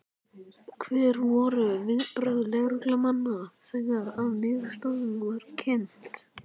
Hver voru viðbrögð lögreglumanna þegar að niðurstaðan var kynnt?